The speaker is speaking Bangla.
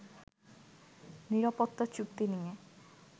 নিরাপত্তা চুক্তি নিয়ে